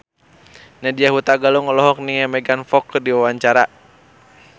Nadya Hutagalung olohok ningali Megan Fox keur diwawancara